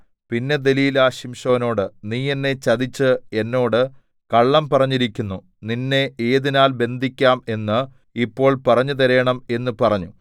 പിന്നെ ദെലീലാ ശിംശോനോട് നീ എന്നെ ചതിച്ച് എന്നോട് കള്ളം പറഞ്ഞിരിക്കുന്നു നിന്നെ ഏതിനാൽ ബന്ധിക്കാം എന്ന് ഇപ്പോൾ പറഞ്ഞുതരേണം എന്ന് പറഞ്ഞു